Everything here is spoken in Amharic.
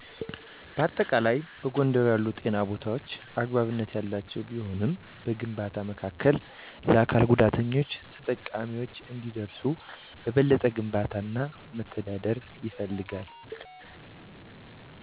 በአጠቃላይ፣ በጎንደር ያሉ ጤና ቦታዎች አግባብነት ያላቸው ቢሆንም፣ በግንባታ መካከል ለአካል ጉዳተኞች ተጠቃሚዎች እንዲደርሱ በበለጠ ግንባታ እና መተዳደር ይፈልጋል።